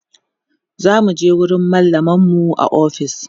zamuje wurin mallamar mu a ofis